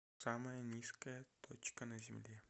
самая низкая точка на земле